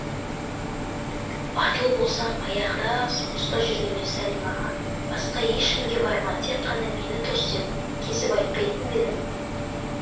батыл болсам баяғыда соғыста жүргенде сәлимаға басқа ешкімге барма тек қана мені тос деп кесіп айтпайтын ба едім